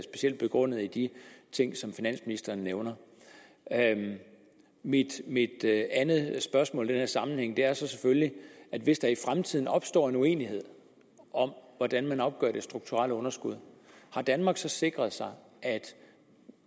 begrundet i de ting som finansministeren nævner mit andet spørgsmål i den her sammenhæng er selvfølgelig hvis der i fremtiden opstår uenighed om hvordan man opgør det strukturelle underskud om danmark så har sikret sig at